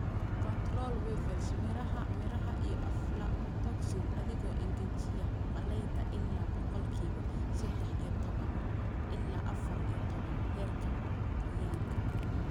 "Control wevils, miraha miraha iyo aflatoxin adigoo engejiya galleyda ilaa boqolkiba sadah iyo tawan ila afar iyo tawan heerka qoyaanka."